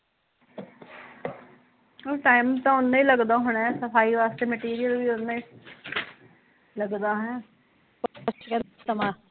ਆਹੋ ਟੀਮ ਤਾਂ ਓਨਾ ਹੀਂ ਲੱਗਦਾ ਹੋਣਾ ਸਫਾਈ ਵਾਸਤੇ ਮਾਂਟਰੀਅਲ ਵੀ ਓਨਾ ਹੀ ਲੱਗਦਾ